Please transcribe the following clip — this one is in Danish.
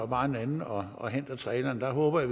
bare en anden og og henter traileren der håber jeg